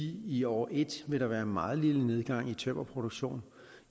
i år en vil der være en meget lille nedgang i tømmerproduktionen